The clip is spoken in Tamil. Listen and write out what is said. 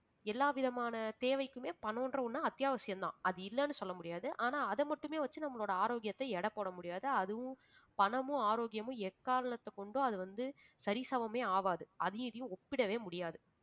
எல்லாவிதமான தேவைக்குமே பணம்ன்ற ஒண்ணு அத்தியாவசியம்தான் அது இல்லைன்னு சொல்ல முடியாது ஆனா அதை மட்டுமே வச்சு நம்மளோட ஆரோக்கியத்தை எடை போட முடியாது அதுவும் பணமும் ஆரோக்கியமும் எக்காரணத்தைக் கொண்டு அது வந்து சரிசமமே ஆகாது அதையும் இதையும் ஒப்பிடவே முடியாது